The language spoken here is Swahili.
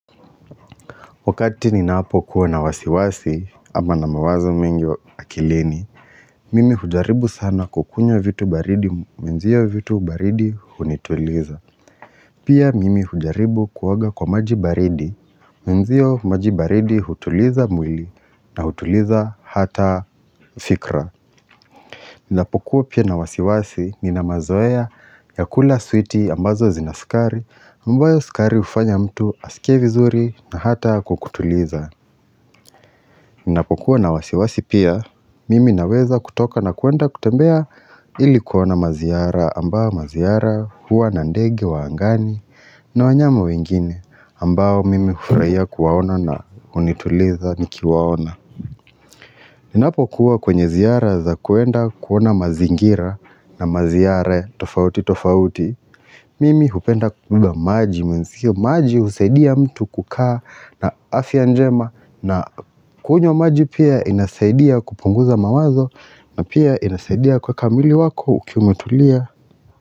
Wakati ninapokuwa na wasiwasi ama na mawazo mingi wa akilini, mimi hujaribu sana kukunywa vitu baridi mwenzio vitu baridi hunituliza. Pia mimi hujaribu kuoga kwa maji baridi, mwenzio maji baridi hutuliza mwili na hutuliza hata fikra. Ninapokuwa pia na wasiwasi nina mazoea ya kula switi ambazo zina sukari ambayo sukari hufanya mtu asikie vizuri na hata kukutuliza. Ninapokuwa na wasiwasi pia, mimi naweza kutoka na kuenda kutembea ilikuona maziara ambao maziara huwa na ndege wa angani na wanyama wengine ambao mimi hufuraia kuwaona na unituliza nikiwaona. Ninapokuwa kwenye ziara za kuenda kuona mazingira na maziare tofauti tofauti, mimi hupenda kubeba maji mwenzio, maji husaidia mtu kukaa na afya njema na kunywa maji pia inasaidia kupunguza mawazo na pia inasaidia kuweka mwili wako ukiwa umetulia.